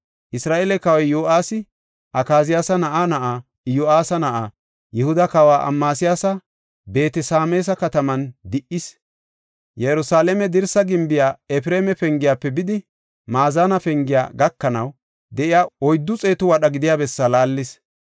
Isra7eele kawoy Yo7aasi Akaziyaasa na7aa na7aa, Iyo7aasa na7aa, Yihuda kawa Amasiyaasa Beet-Sameesa kataman di77is. Yerusalaame dirsa gimbiya, Efreema Pengiyafe bidi, Maazane Pengiya gakanaw de7iya oyddu xeetu wadha gidiya bessaa laallis.